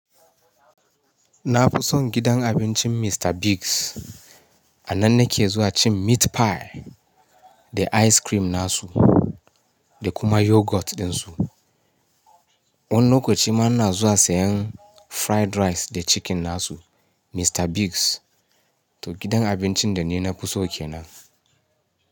Na fi son gidan abincin Mr. Biggs. A nan nake zuwa cin meat pie da ice cream nasu da kuma yogurt din su. Wani lokaci ma na zuwa sayan fried rice da chicken nasu. Mr. Biggs, to gidan abincin da ni na fi so kenan.